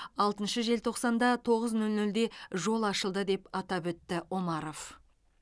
алтыншы желтоқсанда тоғыз нөл нөлде жол ашылды деп атап өтті омаров